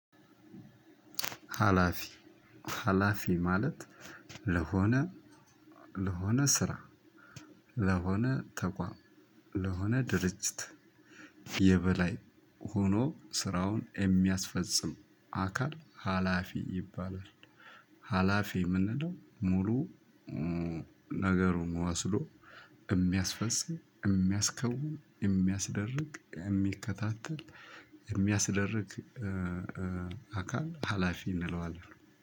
ሀላፊ ሀላፊ ማለት ለሆነ ለሆነ ስራ ለሆነ ተቋም ለሆነ ድርጅት የበላይ ሆኖ ስራውን የሚያስፈጽም አካል ሀላፊ ይባላል። ሀላፊ የምንለው ሙሉ ነገሩን ወስዶ የሚያስፈፅም የሚያስከውም የሚያስደርግ የሚከታተል የሚያስደርግ አካል ሀላፊ እንለዋለን።